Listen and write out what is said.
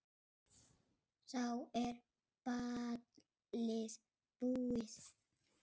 Þá er ballið búið.